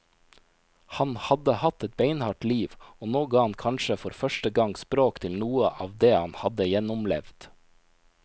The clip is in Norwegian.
Han hadde hatt et beinhardt liv, og nå ga han kanskje for første gang språk til noe av det han hadde gjennomlevd.